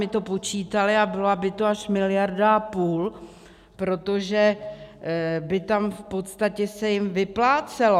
My to počítali a byla by to až miliarda a půl, protože by tam v podstatě se jim vyplácelo.